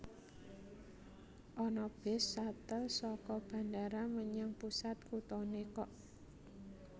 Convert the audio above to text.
Ana bis shuttle soko bandara menyang pusat kutone kok